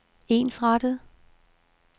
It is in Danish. ensrettet